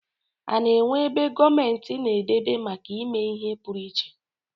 A na-enwe ebe gomenti na-edebe make ime ihe puruiche?